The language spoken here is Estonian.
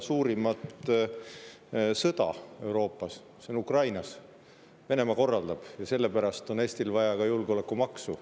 See on Ukrainas, Venemaa seda korraldab ja sellepärast on Eestil vaja ka julgeolekumaksu.